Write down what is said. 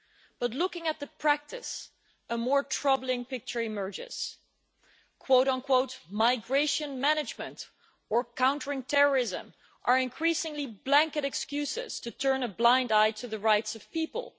But looking at the practice, a more troubling picture emerges migration management' or countering terrorism' are increasingly blanket excuses to turn a blind eye to the rights of people.